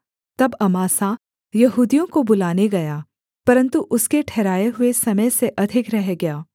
तब अमासा यहूदियों को बुलाने गया परन्तु उसके ठहराए हुए समय से अधिक रह गया